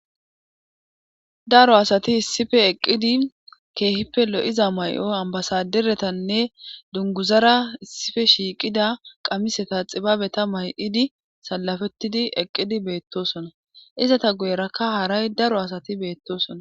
daro asati issipe eqqidi keehippe lo7iza may7o ambasaderetanne dunguzara issipe shiiqida qamiseta xibabeta may7idi salafettidi eqqidi beettosona izata guyerakka haray daro asati beettosona